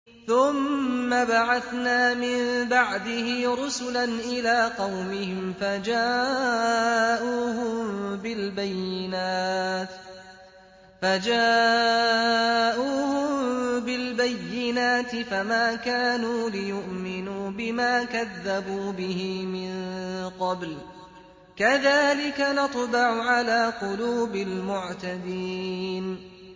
ثُمَّ بَعَثْنَا مِن بَعْدِهِ رُسُلًا إِلَىٰ قَوْمِهِمْ فَجَاءُوهُم بِالْبَيِّنَاتِ فَمَا كَانُوا لِيُؤْمِنُوا بِمَا كَذَّبُوا بِهِ مِن قَبْلُ ۚ كَذَٰلِكَ نَطْبَعُ عَلَىٰ قُلُوبِ الْمُعْتَدِينَ